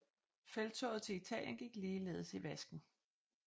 Felttoget til Italien gik ligeledes i vasken